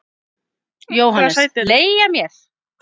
JÓHANNES: Leigja mér?